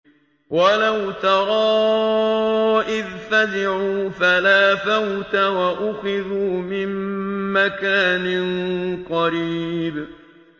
وَلَوْ تَرَىٰ إِذْ فَزِعُوا فَلَا فَوْتَ وَأُخِذُوا مِن مَّكَانٍ قَرِيبٍ